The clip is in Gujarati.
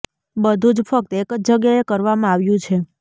બધું જ ફક્ત એક જ જગ્યાએ કરવામાં આવ્યું છે